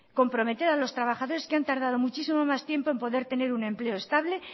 comprometer a los trabajadores que han tardado muchísimo más tiempo en poder tener un empleo estable